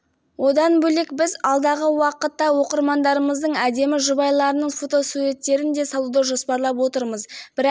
ақтөбе облысы темір ауданы кеңқияқ ауылының тұрғыны гүлжайна молдағалиева көршілерінің кесірінен үйінен айырылып далада қалды